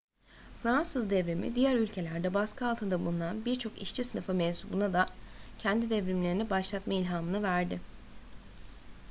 fransız devrimi diğer ülkelerde baskı altında bulunan birçok işçi sınıfı mensubuna da kendi devrimlerini başlatma ilhamını verdi